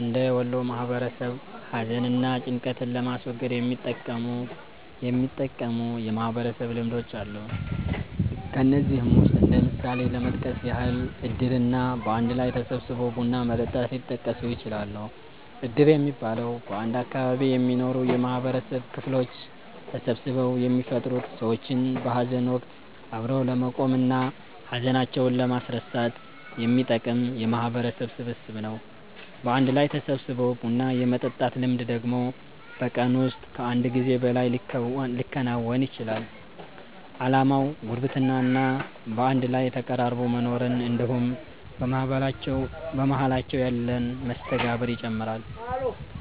እንደ ወሎ ማህበረሰብ ሀዘን እና ጭንቀትን ለማስወገድ የሚጠቅሙ የማህበረሰብ ልምዶች አሉ። ከነዚህም ውስጥ እንደ ምሳሌ ለመጥቀስ ያህል እድር እና በአንድ ላይ ተሰባስቦ ቡና መጠጣት ሊጠቀሱ ይችላሉ። እድር የሚባለው፤ በአንድ አካባቢ የሚኖሩ የማህበረሰብ ክፍሎች ተሰባስበው የሚፈጥሩት ሰዎችን በሀዘን ወቀት አብሮ ለመቆም እና ሀዘናቸውን ለማስረሳት የሚጠቅም የማህበረሰብ ስብስብ ነው። በአንድ ላይ ተሰባስቦ ቡና የመጠጣት ልምድ ደግሞ በቀን ውስጥ ከአንድ ጊዜ በላይ ሊከወን ይችላል። አላማውም ጉርብትና እና በአንድ ላይ ተቀራርቦ መኖርን እንድሁም በመሃላቸው ያለን መስተጋብር ይጨምራል።